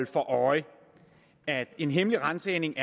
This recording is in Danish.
for øje at en hemmelig ransagning